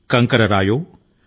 జాడ లేకుండా చాలా మునిగిపోయాయి